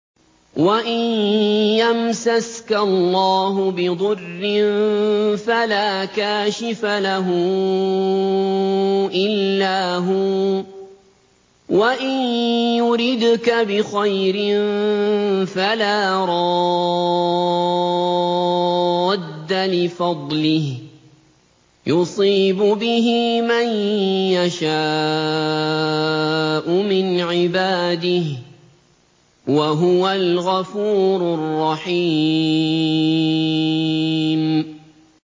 وَإِن يَمْسَسْكَ اللَّهُ بِضُرٍّ فَلَا كَاشِفَ لَهُ إِلَّا هُوَ ۖ وَإِن يُرِدْكَ بِخَيْرٍ فَلَا رَادَّ لِفَضْلِهِ ۚ يُصِيبُ بِهِ مَن يَشَاءُ مِنْ عِبَادِهِ ۚ وَهُوَ الْغَفُورُ الرَّحِيمُ